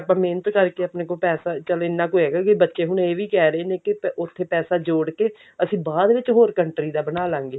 ਆਪਾਂ ਮਿਹਨਤ ਕਰਕੇ ਪੈਸਾ ਚੱਲ ਇੰਨਾ ਕੁ ਹੈਗਾ ਕਿ ਬੱਚੇ ਹੁਣ ਇਹ ਵੀ ਕਿਹ ਰਹੇ ਨੇ ਕੀ ਉੱਥੇ ਪੈਸਾ ਜੋੜ ਕਿ ਅਸੀਂ ਬਾਅਦ ਵਿੱਚ ਹੋਰ country ਦਾ ਬਣਾ ਲਵਾਂਗੇ